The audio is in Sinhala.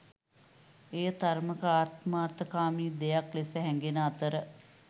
එය තරමක ආත්මාර්ථකාමී දෙයක් ලෙස හැඟෙන අතර